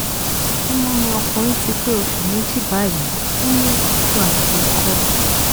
ọmọ mi ọkùnrin ti pé oṣù méjì báyìí ó ní òtútù àti ikọ́